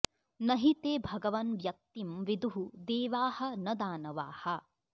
न हि ते भगवन् व्यक्तिम् विदुः देवाः न दानवाः